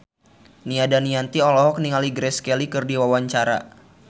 Nia Daniati olohok ningali Grace Kelly keur diwawancara